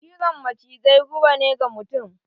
cizon macizai guba ne ga mutum.